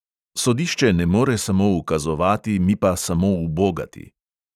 Sodišče ne more samo ukazovati, mi pa samo ubogati.